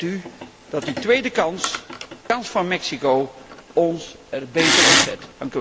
Ik hoop met u dat die tweede kans, de kans van Mexico, ons er beter op zet.